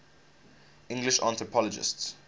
english anthropologists